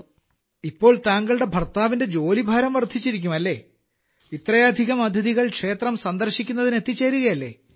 അപ്പോൾ ഇപ്പോൾ താങ്കളുടെ ഭർത്താവിന്റെ ജോലിഭാരം വർദ്ധിച്ചിരിക്കും അല്ലേ ഇത്രയധികം അതിഥികൾ ക്ഷേത്രം സന്ദർശിക്കുന്നതിന് എത്തിച്ചേരുകയല്ലേ